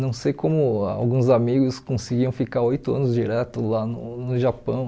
Não sei como alguns amigos conseguiam ficar oito anos direto lá no no Japão.